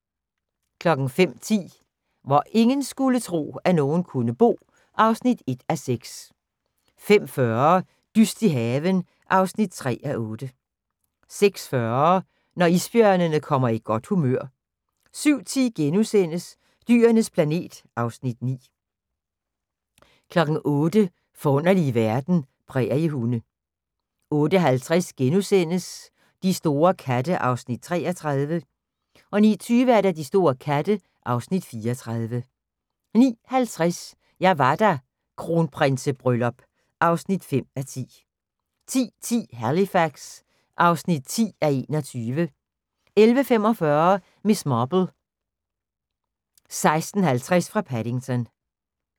05:10: Hvor ingen skulle tro, at nogen kunne bo (1:6) 05:40: Dyst i haven (3:8) 06:40: Når isbjørnen kommer i godt humør 07:10: Dyrenes planet (Afs. 9)* 08:00: Forunderlige verden - præriehunde 08:50: De store katte (Afs. 33)* 09:20: De store katte (Afs. 34) 09:50: Jeg var der - Kronprinsebryllup (5:10) 10:10: Halifax (10:21) 11:45: Miss Marple: 16:50 fra Paddington